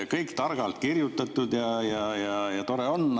Kõik on targalt kirjutatud ja tore on.